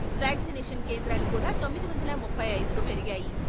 Vaccination కేంద్రాలు కూడా తొమ్మిది వందల ముప్పై ఐదుకు పెరిగాయి.